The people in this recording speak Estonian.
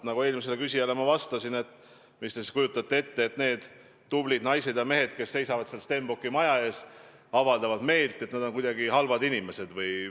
Nagu ma eelmisele küsijale vastasin, siis kas te kujutate ette, et need tublid naised ja mehed, kes seisavad seal Stenbocki maja ees ja avaldavad meelt, on kuidagi halvad inimesed.